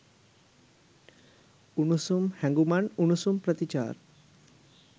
උණුසුම් හැඟුමන් උණුසුම් ප්‍රතිචාර.